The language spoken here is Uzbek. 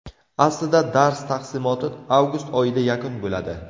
Aslida dars taqsimoti avgust oyida yakun bo‘ladi.